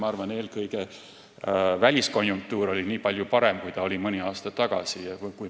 Ma arvan, et eelkõige oli väliskonjunktuur palju parem, kui ta oli mõni aasta tagasi.